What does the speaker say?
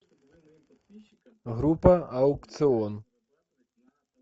группа аукцион